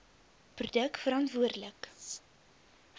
produk verantwoorde lik